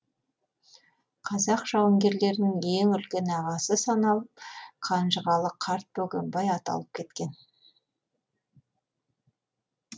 қазақ жауынгерлерінің ең үлкен ағасы саналып қанжығалы карт бөгембай аталып кеткен